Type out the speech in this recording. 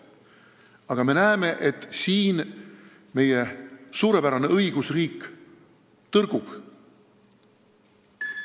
Aga me näeme, et siin meie suurepärane õigusriik tõrgub.